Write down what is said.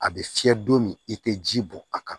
A bɛ fiyɛ don min i tɛ ji bɔ a kan